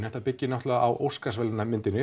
þetta byggir náttúrulega á